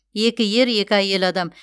екі ер екі әйел адам